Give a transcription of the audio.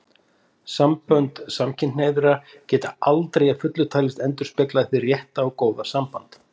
Sambönd samkynhneigðra geta aldrei að fullu talist endurspegla hið rétta og góða samband.